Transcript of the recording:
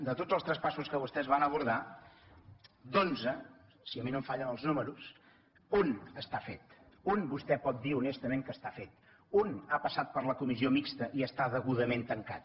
de tots els traspassos que vostès van abordar d’onze si a mi no em fallen els números un està fet un vostè pot dir honestament que està fet un ha passat per la comissió mixta i està degudament tancat